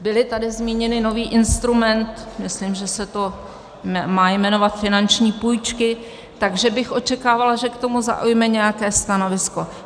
Byly tady zmíněny - nový instrument - myslím, že se to má jmenovat finanční půjčky, takže bych očekávala, že k tomu zaujme nějaké stanovisko.